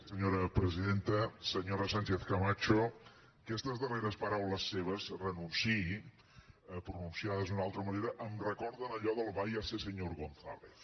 senyora sánchez camacho aquestes darreres paraules seves renunciï pronunciades d’una altra manera em recorden allò del váyase señor gonzález